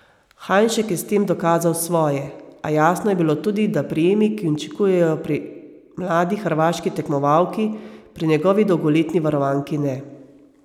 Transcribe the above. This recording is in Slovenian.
Hajnšek je s tem dokazal svoje, a jasno je bilo tudi, da prijemi, ki učinkujejo pri mladi hrvaški tekmovalki, pri njegovi dolgoletni varovanki ne.